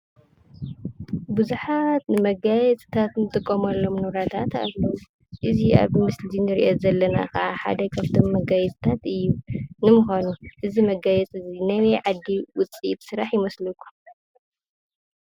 ቡዙሓት ንመጋየፅታት እንጥቀመሎም ንብረታት ኣለው። እዚ ኣብዚ ምስሊ እዙይ እንረእዮ ዘለና ኣቅሓ ሓደ ካብቶም መጋየፅታት እዩ። ንምኳኑ እዚ መጋየፂ እዚ ናበይ ዓዲ ውፅኢት ሰራሕ ይመስለኩም?